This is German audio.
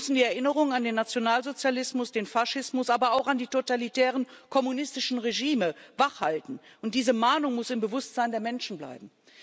Wir müssen die Erinnerung an den Nationalsozialismus, den Faschismus, aber auch an die totalitären kommunistischen Regime wachhalten, und diese Mahnung muss im Bewusstsein der Menschen bleiben.